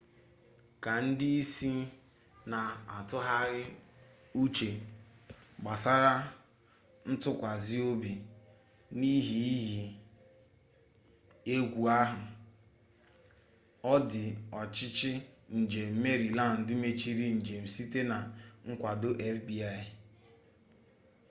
ka ndị isi na-atụgharị uche gbasara ntụkwasị obi n'ihe iyi egwu ahụ ndị ọchịchị njem meriland mechiri njem site na nkwado fbi